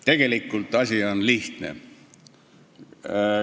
Tegelikult on asi lihtne.